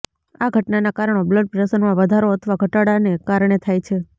આ ઘટનાના કારણો બ્લડ પ્રેશરમાં વધારો અથવા ઘટાડાને કારણે થાય છે